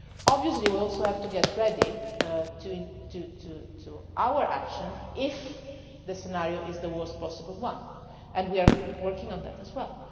happens. Obviously we also have to get ready to act if the scenario is the worst possible one. We are working on that